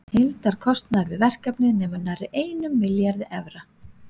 Heildarkostnaður við verkefnið nemur nærri einum milljarði evra.